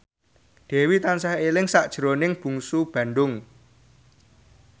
Dewi tansah eling sakjroning Bungsu Bandung